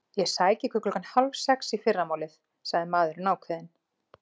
Ég sæki ykkur klukkan hálf sex í fyrramálið sagði maðurinn ákveðinn.